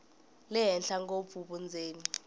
le henhla ngopfu vundzeni